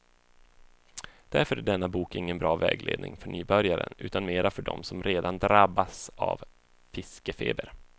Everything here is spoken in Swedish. Därför är denna bok ingen bra vägledning för nybörjaren, utan mera för dem som redan drabbats av fiskefeber.